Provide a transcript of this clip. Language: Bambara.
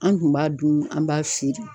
An dun b'a dun an b'a feere.